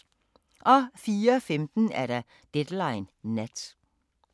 04:15: Deadline Nat